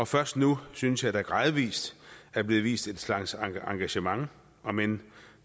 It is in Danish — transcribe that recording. først nu synes jeg at der gradvis bliver vist en slags engagement om end